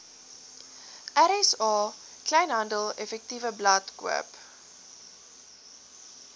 rsa kleinhandeleffektewebblad koop